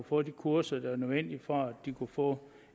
få de kurser der var nødvendige for at de kunne få